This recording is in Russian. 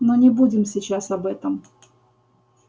но не будем сейчас об этом